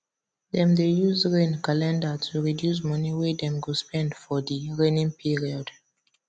dem dey use rain calender to reduce money wey dem go spend for di raining period